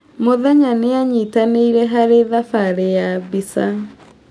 Mũthenya nĩ aanyitanĩire harĩ thabarĩ ya mbica.